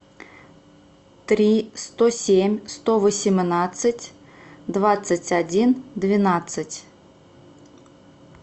три сто семь сто восемнадцать двадцать один двенадцать